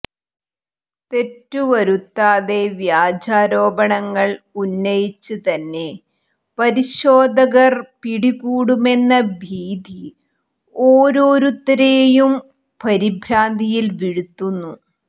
തെറ്റുവരുത്താതെ വ്യാജാരോപണങ്ങൾ ഉന്നയിച്ച് തന്നെ പരിശോധകർ പിടികൂടുമെന്ന ഭീതി ഒാരോരുത്തരെയും പരിഭ്രാന്തിയിൽവീഴ്ത്തുന്നു